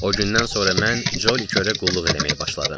O gündən sonra mən Colly körə qulluq eləməyə başladım.